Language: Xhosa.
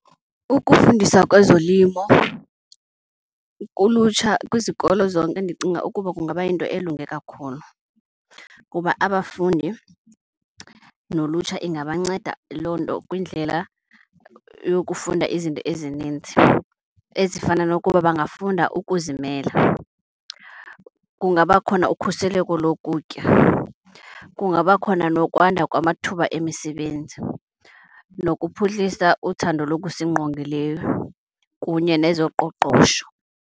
Ukufundisa kwezolimo kulutsha kwizikolo zonke ndicinga ukuba kungaba yinto elunge kakhulu kuba abafundi nolutsha ingabanceda loo nto kwindlela yokufunda izinto ezininzi, ezifana nokuba bangafunda ukuzimela. Kungaba khona ukhuseleko lokutya, kungaba khona nokwanda kwamathuba emisebenzi nokuphuhlisa uthando lokusingqongileyo kunye nezoqoqosho.